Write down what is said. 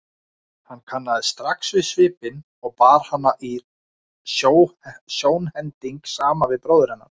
Hann kannaðist strax við svipinn og bar hana í sjónhending saman við bróður hennar.